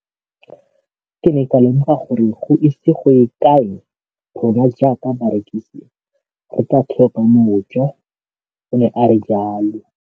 Ke ne ka lemoga gore go ise go ye kae rona jaaka barekise re tla tlhoka mojo, o ne a re jalo.